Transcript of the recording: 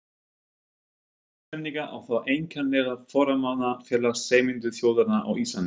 Íslendinga, og þá einkanlega forráðamanna Félags Sameinuðu þjóðanna á Íslandi.